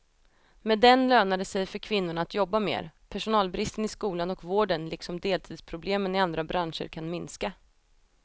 Med den lönar det sig för kvinnorna att jobba mer, personalbristen i skolan och vården liksom deltidsproblemen i andra branscher kan minska.